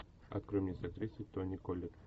открой мне с актрисой тони коллетт